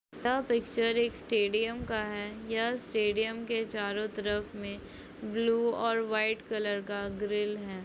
यह पिक्चर एक स्टेडियम का है यह स्टेडियम के चारों तरफ में ब्लू और व्हाइट कलर का ग्रिल है।